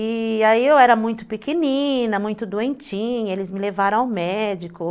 E aí eu era muito pequenina, muito doentinha, eles me levaram ao médico.